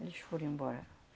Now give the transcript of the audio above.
Eles foram embora.